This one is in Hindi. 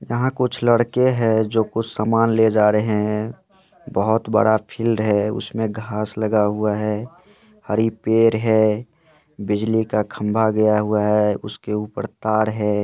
यहा कुछ लड़के है जो कुछ सामान ले जा रहे है बोहोत बड़ा फील्ड है उसमे घास लगा हुआ है हरी पैड है बिजली का खंबा गया हुआ है उसके ऊपर तार है।